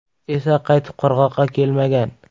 esa qaytib qirg‘oqqa kelmagan.